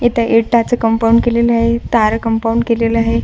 इथ इटाचं कंपाऊंड केलेलं आहे तार कंपाऊंड केलेलं आहे.